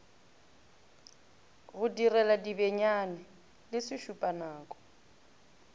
go direla dibenyane le sešupanako